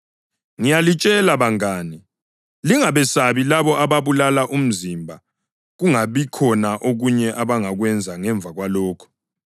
Ngiyalitshela bangane, lingabesabi labo ababulala umzimba kungabikhona okunye abangakwenza ngemva kwalokho.